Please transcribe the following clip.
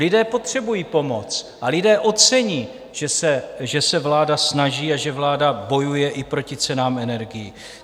Lidé potřebují pomoc a lidé ocení, že se vláda snaží a že vláda bojuje i proti cenám energií.